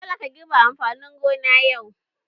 Dole ka girbe amfanin gona yau!